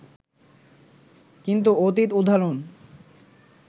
কিন্তু অতীত উদাহরণ